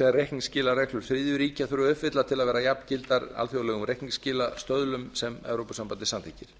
sem reikniskilareglur þriðju ríkja þurfa að uppfylla til að vera jafngildar alþjóðlegum reikniskilastöðlum sem evrópusambandið samþykkir